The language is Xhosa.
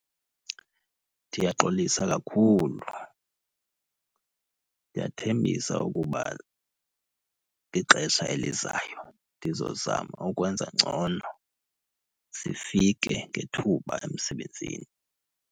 Ndiyaxolisa kakhulu. Ndiyathembisa ukuba kwixesha elizayo ndizozama ukwenza ngcono, sifike ngethuba emsebenzini.